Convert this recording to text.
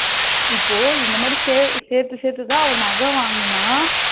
இப்போ இந்த மாதிரி சேர்த்து சேர்த்து தான் நக வாங்குனா.